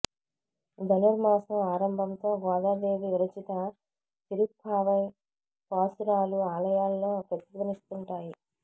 ధనుర్మాసం ఆరంభంతో గోదాదేవి విరచిత తిరుప్పావై పాశురాలు ఆలయాల్లో ప్రతిధ్వనిస్తుంటాయి